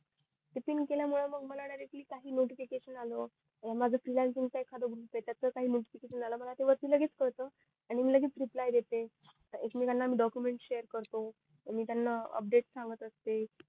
ते पिन केल्या मुळे मंग मला डायरेक्ट काही नोटिफिकेशन आलं मला ते वरती लगेच कळत आणि मी लगेच रिप्लाय देते एकमेकांना डोकमेंन्ट शेअर करतो मी त्याना अपडेट सांगत असते